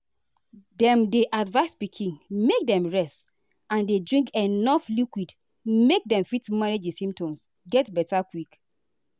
dem dey advise pikin make dem rest and dey drink enuf liquid make dem fit manage di symptoms get beta quick.